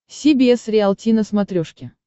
си би эс риалти на смотрешке